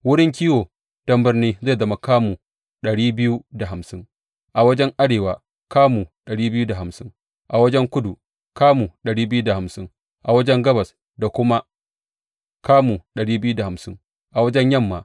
Wurin kiwo don birnin zai zama kamu dari biyu da hamsin a wajen arewa, kamu dari biyu da hamsin a wajen kudu, kamu dari biyu da hamsin a wajen gabas da kuma kamu dari biyu da hamsin a wajen yamma.